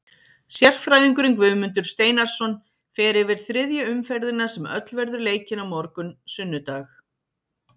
Sérfræðingurinn Guðmundur Steinarsson fer yfir þriðju umferðina sem öll verður leikin á morgun sunnudag.